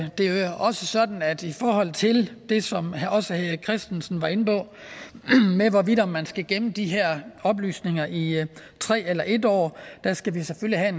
også sådan at i forhold til det som også herre erik christensen var inde på med hvorvidt man skal gemme de her oplysninger i tre eller en år skal vi selvfølgelig have